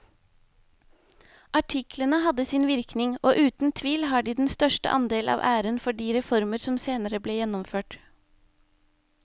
Artiklene hadde sin virkning og uten tvil har de den største andel av æren for de reformer som senere ble gjennomført.